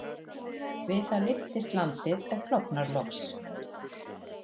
Við það lyftist landið og klofnar loks.